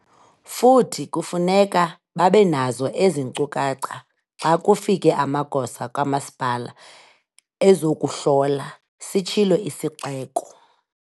"Futhi kufuneka babe nazo ezi nkcukacha xa kufike amagosa kamasipala ezokuhlola," sitshilo isixeko.